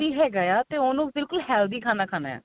ਵੀ ਹੈਗਾ ਆ ਤੇ ਉਹਨੂੰ ਬਿਲਕੁਲ healthy ਖਾਣਾ ਖਾਨਾ ਆ